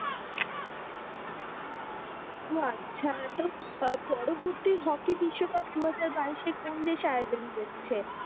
তো আচ্ছা তো আহ পরবর্তী হকি বিশ্বকাপ দুহাজার বাইশ কোন দেশ আয়োজন করছে।